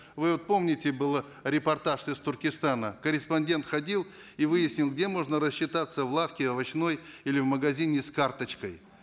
вы вот помните был репортаж из туркестана корреспондент ходил и выяснял где можно рассчитаться в лавке овощной или в магазине с карточкой